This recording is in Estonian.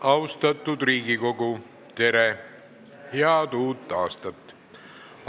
Austatud Riigikogu, tere ja head uut aastat!